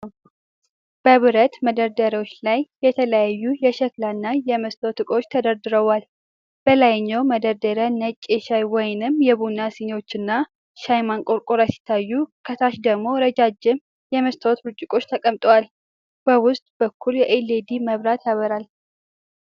በብረት መደርደሪያዎች ላይ የተለያዩ የሸክላ እና የመስታወት ዕቃዎች ተደርድረዋል። በላይኛው መደርደሪያ ነጭ የሻይ/ቡና ስኒዎችና ሻይ ማንቆርቆሪያ ሲታዩ፤ ከታች ደግሞ ረዣዥም የመስታወት ብርጭቆዎች ተቀምጠዋል። በውስጥ በኩል የኤልኢዲ መብራት ያበራል።